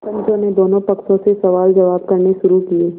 पंचों ने दोनों पक्षों से सवालजवाब करने शुरू किये